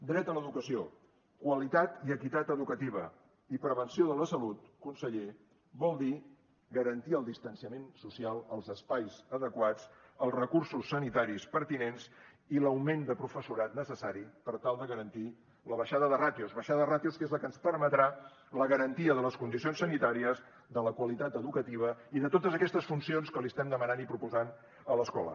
dret a l’educació qualitat i equitat educativa i prevenció de la salut conseller vol dir garantir el distanciament social els espais adequats els recursos sanitaris pertinents i l’augment de professorat necessari per tal de garantir la baixada de ràtios baixada de ràtios que és la que ens permetrà la garantia de les condicions sanitàries de la qualitat educativa i de totes aquestes funcions que li estem demanant i proposant a l’escola